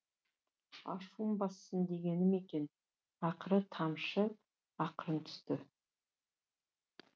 ашуын бассын дегені ме екен ақырғы тамшы ақырын түсті